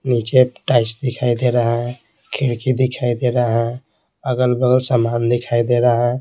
नीचे टाइस दिखाई दे रहा है खिड़की दिखाई दे रहा है अगल-बगल सामान दिखाई दे रहा है।